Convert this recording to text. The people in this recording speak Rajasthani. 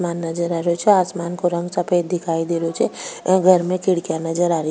मान नजर आ रेहो छे आसमान को रंग सफ़ेद दिखाई दे रो छे या घर में खिड़किया नजर आ री --